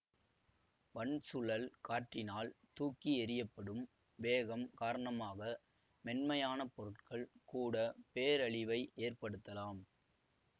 வன்சுழல் காற்றினால் தூக்கி எறியப்படும் வேகம் காரணமாக மென்மையான பொருட்கள் கூட பேரழிவை ஏற்படுத்தலாம்